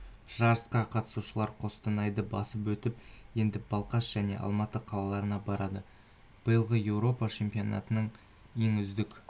жарысқа қатысушылар қостанайды басып өтіп енді балқаш және алматы қалаларына барады биылғы еуропа чемпионатының ең үздік